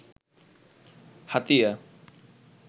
Hatiya